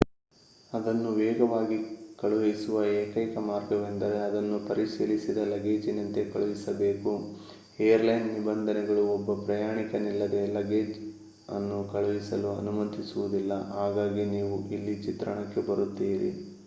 ಅದನ್ನು ವೇಗವಾಗಿ ಕಳುಹಿಸುವ ಏಕೈಕ ಮಾರ್ಗವೆಂದರೆ ಅದನ್ನು ಪರಿಶೀಲಿಸಿದ ಲಗೇಜಿನಂತೆ ಕಳುಹಿಸಬೇಕು ಏರ್ಲೈನ್ ನಿಬಂಧನೆಗಳು ಒಬ್ಬ ಪ್ರಯಾಣಿಕನಿಲ್ಲದೆ ಲಗ್ಗೇಜ್ ಅನ್ನು ಕಳುಹಿಸಲು ಅನುಮತಿಸುವುದಿಲ್ಲ ಹಾಗಾಗಿ ನೀವು ಇಲ್ಲಿ ಚಿತ್ರಣಕ್ಕೆ ಬರುತ್ತೀರಿ